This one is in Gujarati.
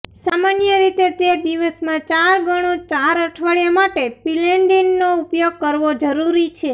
સામાન્ય રીતે તે દિવસમાં ચાર ગણો ચાર અઠવાડિયા માટે પિલેંડિનનો ઉપયોગ કરવો જરૂરી છે